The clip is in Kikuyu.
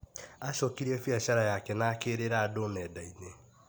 Acokirie biacara yake na akĩrĩra andũ nenda-inĩ